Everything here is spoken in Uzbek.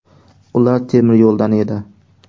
Ular temiryo‘ldan edi.